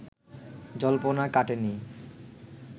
জল্পনা কাটেনি